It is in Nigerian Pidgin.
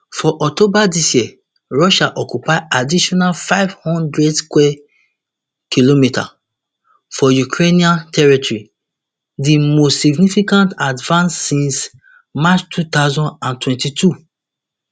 for october dis year russia occupy additional five hundred square km of ukrainian territory di most significant advance since march two thousand and twenty-two